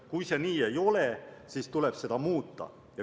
Kui see nii ei ole, siis tuleb seda muuta.